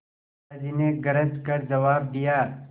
दादाजी ने गरज कर जवाब दिया